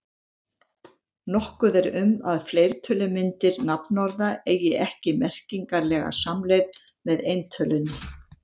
Nokkuð er um að fleirtölumyndir nafnorða eigi ekki merkingarlega samleið með eintölunni.